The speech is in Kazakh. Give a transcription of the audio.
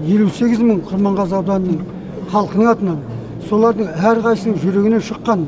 елу сегіз мың құрманғазы ауданының халқының атынан солардың әрқайсысының жүрегінен шыққан